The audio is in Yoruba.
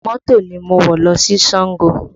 Mọ́tò ni mo wọ̀ lọ sí Sango